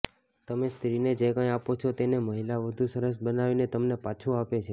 તમે સ્ત્રીને જે કંઈ આપો છો તેને મહિલા વધુ સરસ બનાવીને તમને પાછું આપે છે